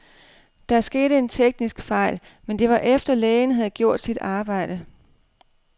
Der skete en teknisk fejl, men det var efter, lægen havde gjort sit arbejde.